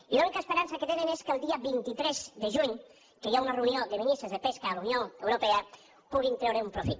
i l’única esperança que tenen és que el dia vint tres de juny que hi ha una reunió de ministres de pesca a la unió europea puguin treure un profit